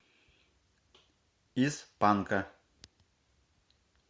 из панка